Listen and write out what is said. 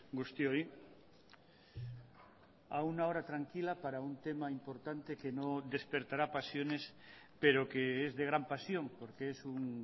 guztioi a una hora tranquila para un tema importante que no despertará pasiones pero que es de gran pasión porque es un